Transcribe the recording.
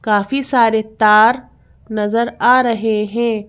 काफी सारे तार नजर आ रहे हैं।